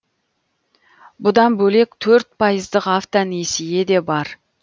бұдан бөлек төрт пайыздық автонесие де бар